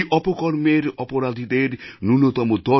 এই অপকর্মের অপরাধীদের ন্যূনতম